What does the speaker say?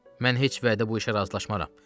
Mən heç vədə bu işə razılaşmaram.